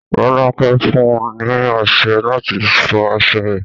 Rolake fún un ní ọsẹ láti fọ aṣọ rẹ̀